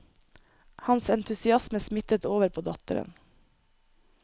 Hans entusiasme smittet over på datteren.